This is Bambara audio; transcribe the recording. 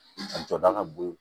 A jɔda ka bon